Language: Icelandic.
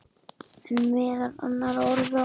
En meðal annarra orða.